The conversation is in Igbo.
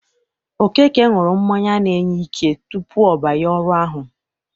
Okeke ṅụrụ mmanya na-enye ike tupu ọ banye ọrụ ahụ.